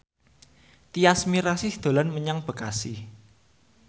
Tyas Mirasih dolan menyang Bekasi